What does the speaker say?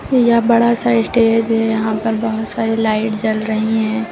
यहां बड़ा सा स्टेज है यहां पर बहोत सारी लाइट जल रही है।